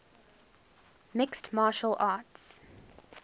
mixed martial arts